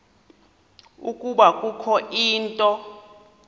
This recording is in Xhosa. ukuba kukho into